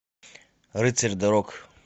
рыцарь дорог